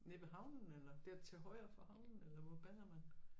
Nede ved havnen eller dér til højre for havnen eller hvor bader man